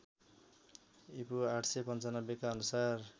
ईपू ८९५ का अनुसार